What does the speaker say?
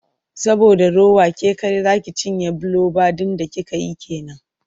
Saboda rowa ke kaɗai za ci cinye fbiloba ɗin da kika yi ke nan.